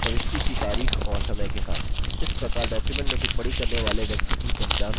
inserted sriranjani: प्रविष्टि की तारीख और समय के साथ